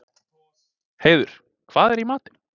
Heiður, hvað er í matinn?